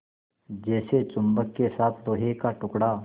जैसे चुम्बक के साथ लोहे का टुकड़ा